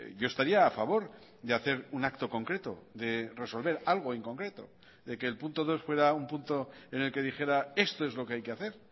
yo estaría a favor de hacer un acto concreto de resolver algo en concreto de que el punto dos fuera un punto en el que dijera esto es lo que hay que hacer